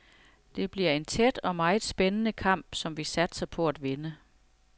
Det bliver en tæt og meget spændende kamp, som vi satser på at vinde.